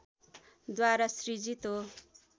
द्वारा सृजित हो